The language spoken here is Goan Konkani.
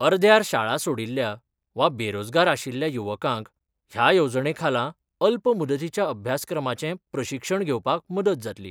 अर्ध्यार शाळा सोडिल्ल्या वा बेरोजगार आशिल्ल्या युवकांक ह्या येवजणेखाला अल्प मुदतीच्या अभ्यासक्रमाचे प्रशिक्षण घेवपाक मदत जातली.